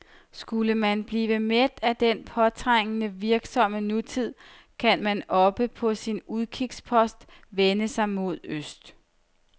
Skulle man blive mæt af den påtrængende, virksomme nutid, kan man oppe på sin udkigspost vende sig mod øst.